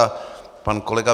A pan kolegy